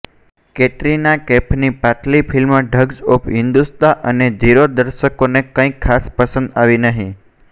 કેટરીના કૈફમી પાછલી film thugs of Hindostan અને જીરો દર્શકોને કઈક ખાસ પસંદ નહી આવી